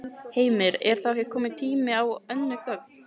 Heimir: Er þá ekki kominn tími á önnur gögn?